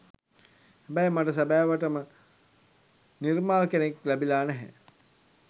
හැබැයි මට සැබෑවට නිර්මාල් කෙනෙක් ලැබිලා නැහැ.